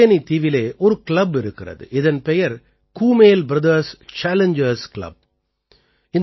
இங்கே கல்பேனீ தீவிலே ஒரு கிளப் இருக்கிறது இதன் பெயர் கூமேல் பிரதர்ஸ் சேலஞ்ஜர்ஸ் கிளப்